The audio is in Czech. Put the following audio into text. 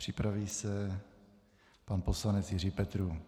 Připraví se pan poslanec Jiří Petrů.